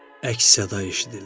Əks-səda eşidildi.